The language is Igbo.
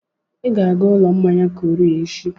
Ị ga-aga ụlọ mmanya Korea echi!